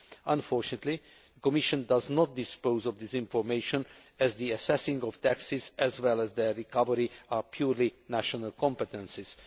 Unfortunately, the Commission does not possess this information, as the assessing of taxes, as well as their recovery, are purely national competences.